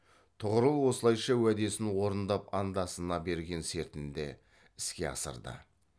тұғырыл осылайша уәдесін орындап андасына берген сертінде іске асырды